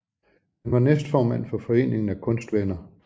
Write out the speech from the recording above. Han var næstformand for Foreningen af Kunstvenner